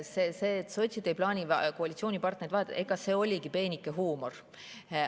See, et sotsid ei plaani koalitsioonipartnereid vahetada – see oligi peenike huumor.